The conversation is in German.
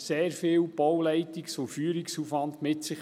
Das bringt sehr viel Bauleitungs- und Führungsaufwand mit sich.